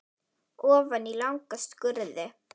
Ofan í langa skurði.